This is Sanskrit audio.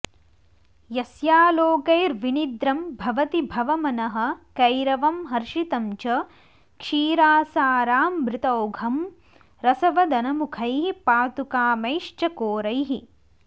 यस्यालोकैर्विनिद्रं भवति भवमनःकैरवं हर्षितं च क्षीरासारामृतौघं रसवदनमुखैः पातुकामैश्चकोरैः